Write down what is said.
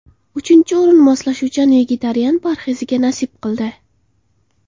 Uchinchi o‘rin moslashuvchan vegetarian parheziga nasib qildi.